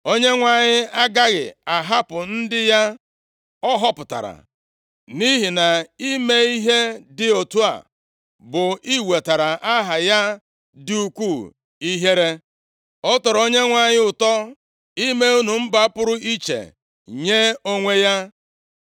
Onyenwe anyị agaghị ahapụ ndị ya ọ họpụtara, nʼihi na-ime ihe dị otu a bụ iwetara aha ya dị ukwuu ihere. Ọ tọrọ Onyenwe anyị ụtọ ime unu mba pụrụ iche nye onwe ya.